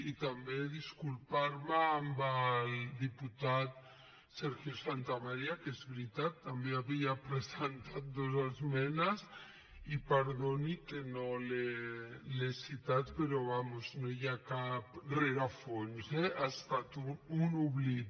i també disculpar me amb el diputat sergio santamaría que és veritat també havia presentat dos esmenes i perdoni que no l’he citat però vaja no hi ha cap rerefons eh ha estat un oblit